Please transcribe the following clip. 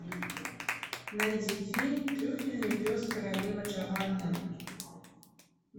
найди фильм трюфельный пес королевы джованны